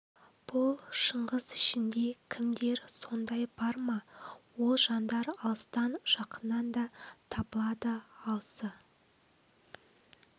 бұл шыңғыс ішінде кімдер сондай бар ма ол жандар алыстан жақыннан да табылады алысы